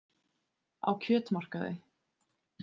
Á kjötmarkaði.